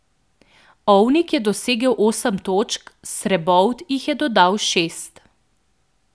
Ovnik je dosegel osem točk, Srebovt jih je dodal šest.